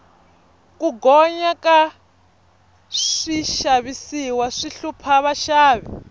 ku gonya ka swixavisiwa swi hlupha vaxavi